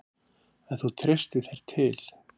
Ef þú treystir þér til.